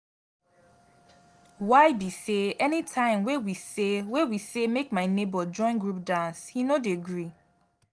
why be say anytime wey we say wey we say make my nebor join group dance he no dey gree